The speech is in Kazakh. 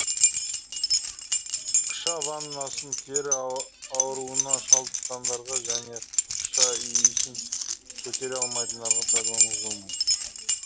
қыша ваннасын тері ауруына шалдыққандарға және қыша иісін көтере алмайтындарға пайдалануға болмайды